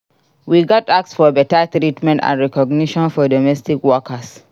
We gats ask for beta treatment and recognition for domestic workers.